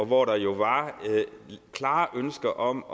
hvor der jo var klare ønsker om